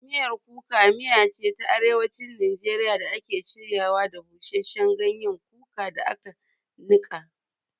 Miyar Kuka miya ce ta Arewacin Najeriya da ake shiryawa da busasshen ganyen kuka da aka nika.